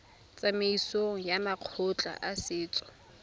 tsamaisong ya makgotla a setso